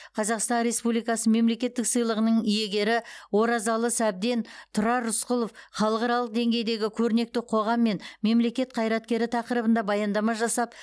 қазақстан республикасы мемлекеттік сыйлығының иегері оразалы сәбден тұрар рысқұлов халықаралық деңгейдегі көрнекті қоғам мен мемлекет қайраткері тақырыбында баяндама жасап